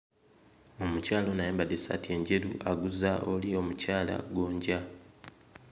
Omukyala ono ayambadde essaati enjeru aguza oli omukyala gonja.